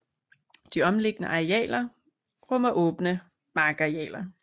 De omliggende arealer rummer åbne markarealer